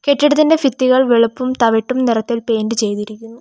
കെട്ടിടത്തിന്റെ ഫിത്തികൾ വെളുപ്പും തവിട്ടും നിറത്തിൽ പെയിന്റ് ചെയ്തിരിക്കുന്നു.